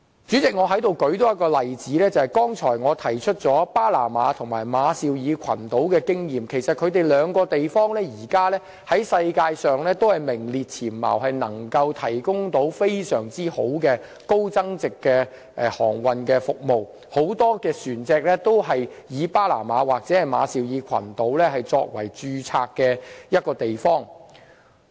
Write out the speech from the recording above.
主席，我在此再舉一例，我剛才提及巴拿馬和馬紹爾群島的經驗，其實現時兩地在世界上都是名列前茅，能夠提供非常好的高增值航運服務，很多船隻均以巴拿馬或馬紹爾群島作為註冊地。